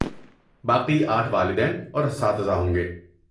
باقی آٹھ والدین اور اساتذہ ہوں گے۔